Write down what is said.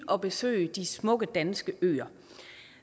og besøge de smukke danske øer